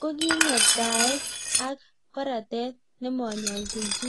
kokingwektaet ak koratet nemoyolchin chi